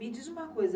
Me diz uma coisa.